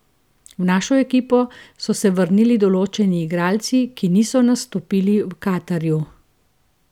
V našo ekipo so se vrnili določeni igralci, ki niso nastopili v Katarju.